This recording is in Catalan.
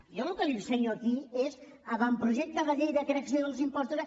jo el que li ensenyo aquí és avantprojecte de llei de creació dels impostos